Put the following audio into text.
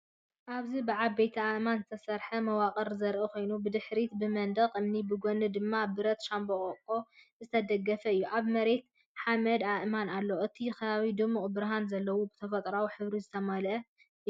እዚ ብዓበይቲ ኣእማን ዝተሰርሐ መዋቕር ዘርኢ ኮይኑ፡ ብድሕሪት ብመንደቕ እምኒ፡ ብጎኒ ድማ ብረት ሻምብቆ ዝተደገፈ እዩ። ኣብ መሬት ሓመድን ኣእማንን ኣሎ። እቲ ከባቢ ድሙቕ ብርሃን ዘለዎን ብተፈጥሮኣዊ ሕብሪ ዝተመልአን እዩ።